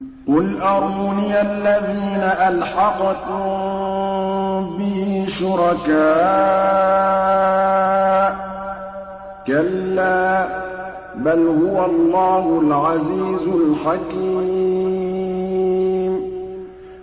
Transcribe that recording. قُلْ أَرُونِيَ الَّذِينَ أَلْحَقْتُم بِهِ شُرَكَاءَ ۖ كَلَّا ۚ بَلْ هُوَ اللَّهُ الْعَزِيزُ الْحَكِيمُ